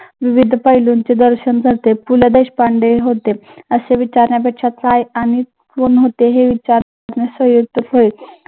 विविध पैलूंचे दर्शन घडते. पु ल देशपांडे होते असे विचारण्यापेक्षा काय आणि कोण होते हे विचारणे